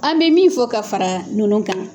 An bɛ min fɔ ka fara ninnu kan